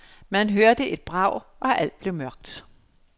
Man hørte et brag, og alt blev mørkt.